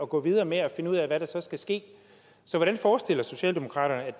gå videre med at finde ud af hvad der så skal ske så hvordan forestiller socialdemokratiet